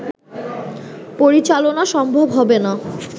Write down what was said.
পরিচালনা সম্ভব হবে না